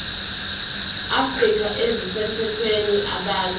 afrika ezisemthethweni abalwe